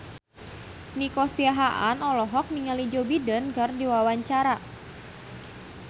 Nico Siahaan olohok ningali Joe Biden keur diwawancara